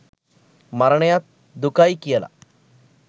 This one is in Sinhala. මරණයත් දුකයි කියලා.